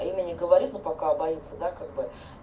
имя не говорит но пока боится да как бы